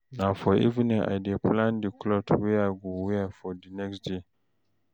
Na for evening I dey plan di cloth wey I go wear di next day.